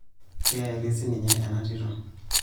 Keeri siininye ena tito.